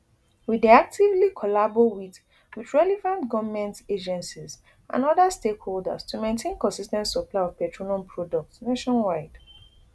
we dey actively collabo wit wit relevant goment agencies and oda stakeholders to maintain consis ten t supply of petroleum products nationwide